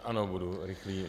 Ano, budu rychlý.